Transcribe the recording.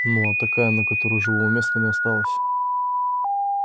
ну а такая на которой живого места не осталось